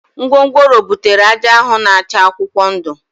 Ngwongworo butere ájá ahụ na-acha akwụkwọ ndụ